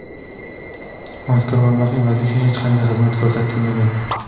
Mazkur mablag‘ evaziga hech qanday xizmat ko‘rsatilmagan.